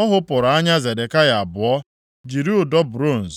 Ọ ghụpụrụ anya Zedekaya abụọ, jiri ụdọ bronz